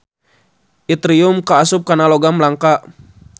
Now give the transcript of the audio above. Itrium kaasup kana logam langka.